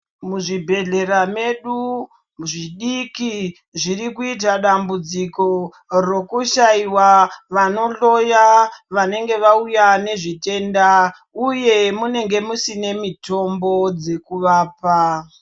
Muzvibhehkera medu zvidiki zviri kuita dambudziko rekushaiwa vanhloya vanenge vauya nezvitenda uye munenge musina mitombo dzekuvapa.